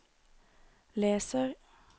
leser